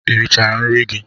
Ị richala nri gị?